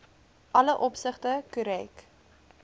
alle opsigte korrek